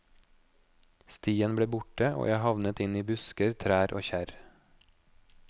Stien ble borte, og jeg havnet inn i busker, trær og kjerr.